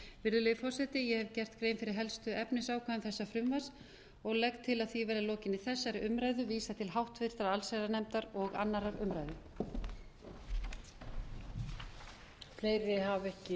virðulegi forseti ég hef gert grein fyrir helstu efnisákvæðum þessa frumvarps og legg til að því verði að lokinni þessari umræðu vísað til háttvirtrar allsherjarnefndar og annarrar umræðu